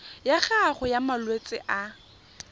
ya gago ya malwetse a